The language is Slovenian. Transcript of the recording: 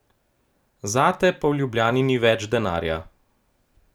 Za te pa v Ljubljani ni več denarja.